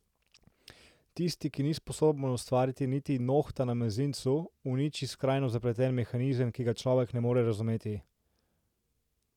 Tisti, ki ni sposoben ustvariti niti nohta na mezincu, uniči skrajno zapleten mehanizem, ki ga človek ne more razumeti.